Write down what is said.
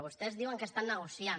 vostès diuen que estan negociant